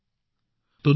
হয় মহোদয়